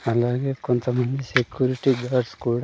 అలానే కొంచం మంది సెక్యూరిటీ గార్డ్స్ కూడా.